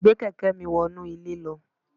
Gbé kẹ̀kẹ́ mi wọ inú ilé lọ